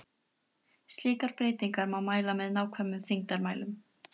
Slíkar breytingar má mæla með nákvæmum þyngdarmælum.